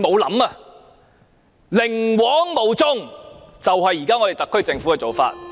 寧枉毋縱是現時特區政府的做法。